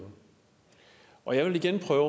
og jeg vil igen prøve